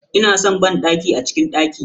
Ina san banɗaki a cikin daki.